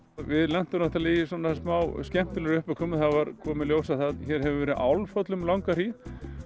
við lentum náttúrulega í svona smá skemmtilegri uppákomu það kom í ljós að hér hefur verið Álfhóll um langa hríð